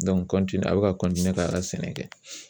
a bɛ ka k'a ka sɛnɛ kɛ